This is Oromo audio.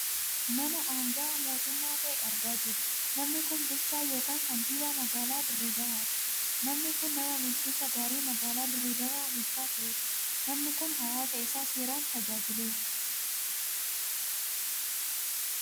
Nama angahaa mootummaa ta'e argaa jirra. Namni kun bulchaa yookaan kaantiibaa magaalaa Dirree Dawaati. Namni kun nama bulchiinsa gaarii magaalaa dirre dawwaa bulchaa turedha. Namni kun hawaasa isaa seeraan tajaajileera.